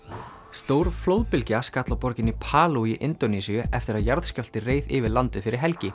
stór flóðbylgja skall á borginni í Indónesíu eftir að jarðskjálfti reið yfir landið fyrir helgi